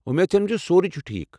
وومید چھم زِ سورُے چھُ ٹھیٖکھ ۔